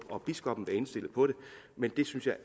og biskoppen være indstillet på det men det synes jeg